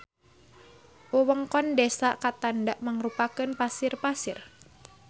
Wewengkon desa Ketanda mangrupakeun pasir-pasir.